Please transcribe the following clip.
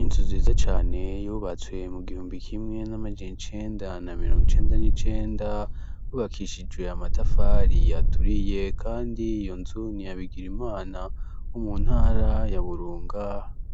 Inzu nziza cane yubatswe mu gihumbi kimwe namajana icenda na mirongo icenda nicenda cubakishijwe namatafari aturiye kandi iyo nzu niya BIGIRIMANA wo mu ntara ya burunga